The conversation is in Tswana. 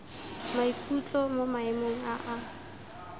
maikutlo mo maemong a a